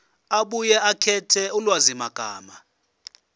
abuye akhethe ulwazimagama